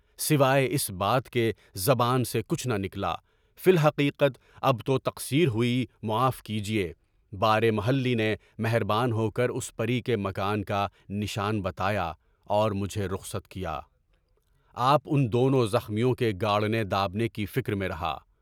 سوائے اِس بات کے زبان سے کچھ نہ نکلا، فی الحقیقت اب تو تقصیر ہوئی معاف کیجیے، پارے محلّی نے مہریان ہو کر اُس پری کے مکان کا نشان لگایا اور مجھے رخصت کیا، آپ اُن دونوں زخمیوں کے گھاؤں کے داغنے کی فکر میں رہا۔